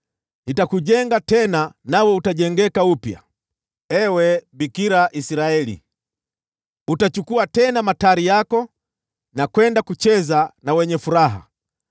Nitakujenga tena nawe utajengeka upya, ewe Bikira Israeli. Utachukua tena matari yako na kwenda kucheza na wenye furaha.